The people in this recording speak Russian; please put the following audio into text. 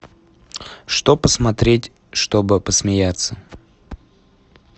что посмотреть чтобы посмеяться